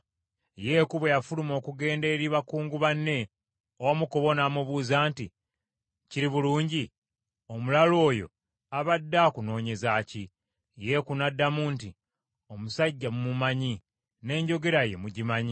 Yeeku bwe yafuluma okugenda eri bakungu banne, omu ku bo n’amubuuza nti, “Kiri bulungi? Omulalu oyo abadde akunoonyeza ki?” Yeeku n’addamu nti, “Omusajja mumumanyi n’enjogera ye mugimanyi.”